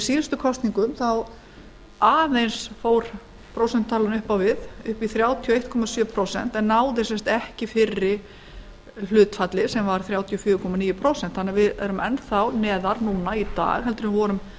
í síðustu kosningum fór prósentutalan aðeins upp á við upp í þrjátíu og einn komma sjö prósent en náði ekki fyrra hlutfalli sem var þrjátíu og fjögur komma níu prósent við erum því enn þá neðar í dag en við vorum á tímabilinu